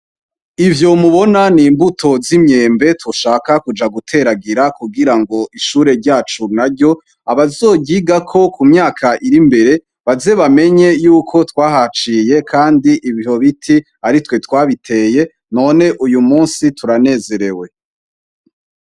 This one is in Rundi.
Ivyo mubona n'imbuto z'imyembe dushaka kuja guteragira, kugira ngo ishure ryacu naryo, abazoryigako ku myaka iri mbere, baze bamenye yuko twahaciye kandi ivyo biti aritwe twabiteye. None uyu munsi turanezerewe.